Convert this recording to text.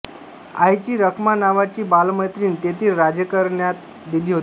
आईची रखमा नावाची बालमैत्रीण तेथील राजघराण्यात दिली होती